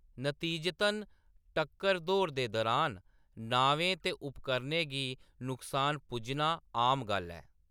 नतीजतन, टक्कर दौड़ दे दौरान नावें ते उपकरणें गी नुकसान पुज्जना आम गल्ल ऐ।